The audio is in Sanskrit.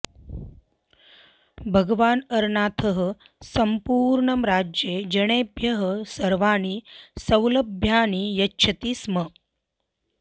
भगवान् अरनाथः सम्पूर्णे राज्ये जनेभ्यः सर्वाणि सौलभ्यानि यच्छति स्म